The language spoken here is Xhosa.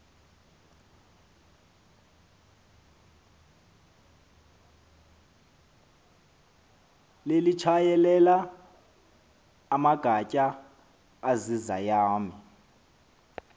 lelitshayelela amagatya azizayami